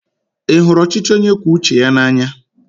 Ị hụrụ ọchịchị onye kwue uche ya n'anya?